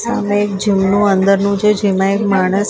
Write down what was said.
સામે એક જૂનું અંદરનું છે જેમાં એક માણસ --